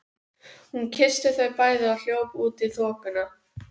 Hún kyssti þau bæði og hljóp út í þokuna.